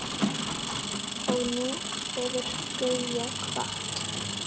Og nú hefur Gauja kvatt.